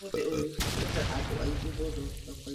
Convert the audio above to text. Ũmũthĩ ũyũ kũrĩ na andũ aingĩ mũno thoko-inĩ